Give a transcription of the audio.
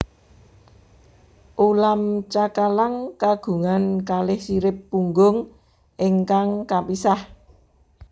Ulam cakalang kagungan kalih sirip punggung ingkang kapisah